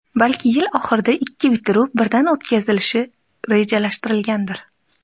Balki yil oxirida ikki bitiruv birdan o‘tkazilishi rejalashtirilgandir.